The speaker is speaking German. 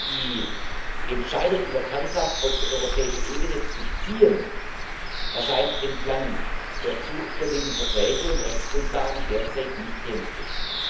die Entscheidung über Kernkraft auf die europäische Ebene zu ziehen, erscheint aufgrund der geltenden Verträge und Rechtsgrundlagen derzeit nicht realistisch.